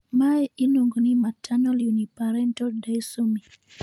mae iluongo ni maternal uniparental disomy